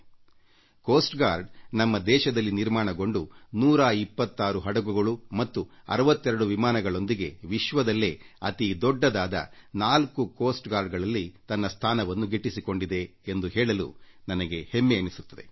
ಕರಾವಳಿ ಭದ್ರತಾ ಪಡೆ ನಮ್ಮ ದೇಶದಲ್ಲಿ ನಿರ್ಮಾಣಗೊಂಡು 126 ಹಡಗುಗಳು ಮತ್ತು 62 ವಿಮಾನಗಳೊಂದಿಗೆ ವಿಶ್ವದಲ್ಲೇ ಅತಿ ದೊಡ್ಡದಾದ 4 ಕರಾವಳಿ ಕಾವಲು ಪಡೆಗಳಲ್ಲಿ ತನ್ನ ಸ್ಥಾನವನ್ನು ಪಡೆದುಕೊಂಡಿದೆ ಎಂದು ಹೇಳಲು ನನಗೆ ಹೆಮ್ಮೆ ಎನಿಸುತ್ತದೆ